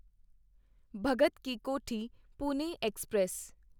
Bhagat ki Kothi Pune express